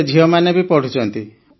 ଏବେ ଝିଅମାନେ ବି ପଢ଼ୁଛନ୍ତି